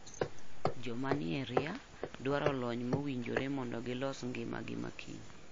Joma nie ria dwaro lony mowinjiore mondo gilos ngima gi makiny.